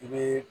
I bɛ